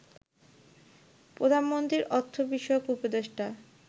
প্রধানমন্ত্রীর অর্থ বিষয়ক উপদেষ্টা